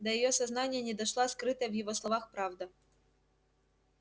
до её сознания не дошла скрытая в его словах правда